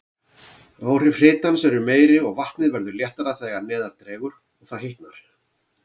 Áhrif hitans eru meiri, og vatnið verður léttara þegar neðar dregur og það hitnar.